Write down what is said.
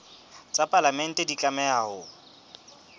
tsa palamente di tlameha ho